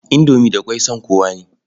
Indomi da ƙwai son kowa ne.